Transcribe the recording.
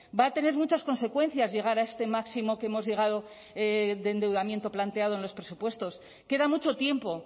va a tener muchas consecuencias llegar a este máximo que hemos llegado de endeudamiento planteado en los presupuestos queda mucho tiempo